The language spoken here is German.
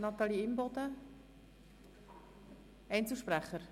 Wir kommen zu den Einzelsprechern.